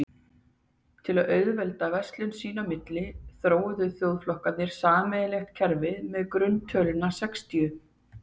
Til að auðvelda verslun sín á milli þróuðu þjóðflokkarnir sameiginlegt kerfi með grunntöluna sextíu.